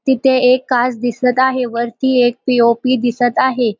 तिथे एक काच दिसत आहे वरती एक पी ओ पी दिसत आहे.